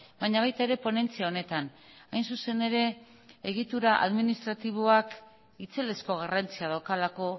baina baita ere ponentzia honetan hain zuzen ere egitura administratiboak itzelezko garrantzia daukalako